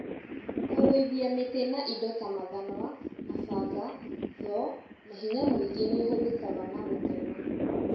Kũgũithia mĩtĩ na indo ta mathanwa, mabanga, thoo na hinya mũingĩ nĩũhũthĩkaga na gũtema